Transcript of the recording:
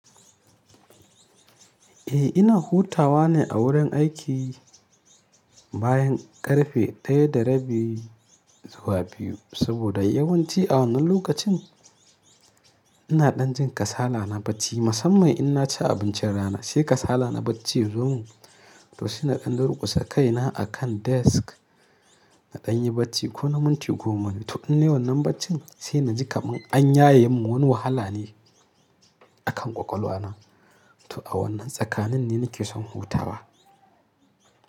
Eh ina hutawa ne a wurin aiki bayan ƙarfe 1:30 zuwa 2. Saboda yawanci a wannan lokacin ina ɗan jin kasala na bacci musamman in na ci abincin rana. Sai kasala na bacci yazo mun to sai na ɗan durƙusa kai na akan desk na ɗan yi bacci ko na minti goma biyu. To inda wannan baccin sai na ji kaman an yaye mun wannan wahala ne a kan ƙwaƙwalwa na. To a wannan tsakanin ne nake son hutawa.